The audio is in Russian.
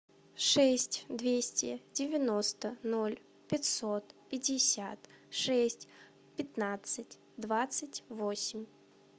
шесть двести девяносто ноль пятьсот пятьдесят шесть пятнадцать двадцать восемь